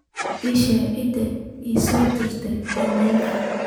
ii sheeg cidda ii soo dirtay iimayl